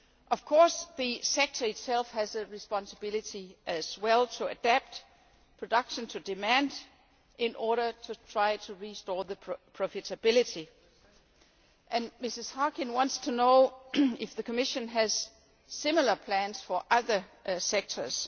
Of course, the sector itself also has a responsibility to adapt production to demand, in order to try to restore profitability, and Mrs Harkin wants to know if the Commission has similar plans for other sectors.